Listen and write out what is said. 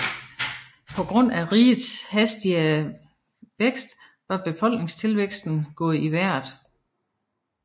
På grund af rigets hastige værkst var befolkningstilvæksten gået i vejret